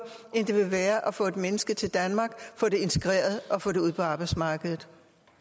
end det vil være at få et menneske til danmark få det integreret og få det ud på arbejdsmarkedet